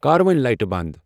کر وۄنۍ لایٹہٕ بند ۔